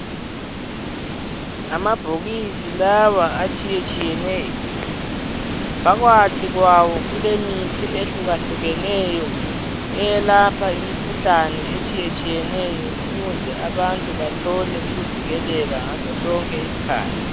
Amabhokisi lawa atshiyetshiyeneyo phakathi kwawo kulemithi ehlukahlukeneyo eyelapha imikhuhlane etshiyetshiyeneyo ukuze abantu bathole ukuvikeleka ngasosonke isikhathi.